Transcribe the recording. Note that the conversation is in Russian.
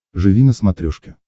живи на смотрешке